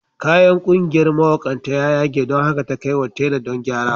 Kayan ƙungiyar mawaƙanta ya yage don haka ta kai wa tela don gyara.